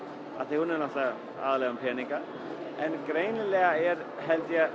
er aðallega um peninga en greinilega er held ég